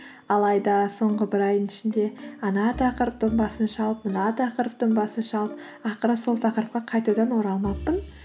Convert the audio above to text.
алайда соңғы бір айдың ішінде ана тақырыптың басын шалып мына тақырыптың басын шалып ақыры сол тақырыпқа қайтадан оралмаппын